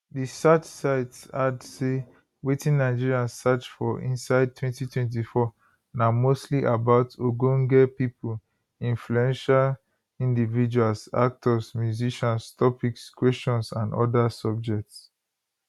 di search site add say wetin nigerians search for inside 2024 na mostly about ogonge pipo influential individuals actors musicians topics questions and oda subjects